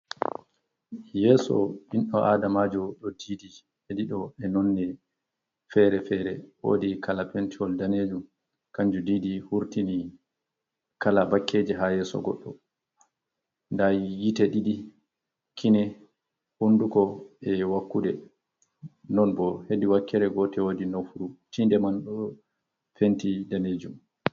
Yeso bindo adamajo do edido e nonne fere-fere. Wodi kala pentiwol danejum kanju didi hurtini kala bakkeji ha yeso goddo. Nda yite didi, kine, hunduko e wakkude. Non bo hedi wakkere gotel wodi nofuru tinde man do penti danejum.